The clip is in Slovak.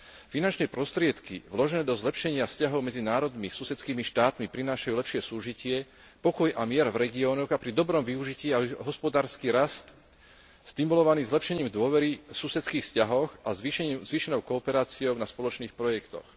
Finančné prostriedky vložené do zlepšenia vzťahov medzi národmi, susedskými štátmi prinášajú lepšie súžitie, pokoj a mier v regiónoch a pri dobrom využití aj hospodársky rast stimulovaný zlepšením dôvery v susedských vzťahoch a zvýšenou kooperáciou na spoločných projektoch.